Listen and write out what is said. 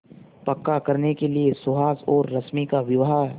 पक्का करने के लिए सुहास और रश्मि का विवाह